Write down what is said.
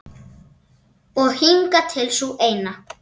Og hingað til sú eina.